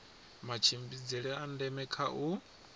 matshimbidzele a ndeme kha u